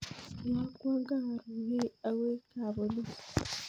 Iyakwan kaaruurey akoi kab polis